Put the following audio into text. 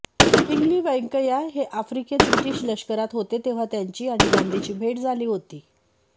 पिंगली व्यंकय्या हे आफ्रिकेत ब्रिटीश लष्करात होते तेव्हा त्यांची आणि गांधींची भेट झाली होती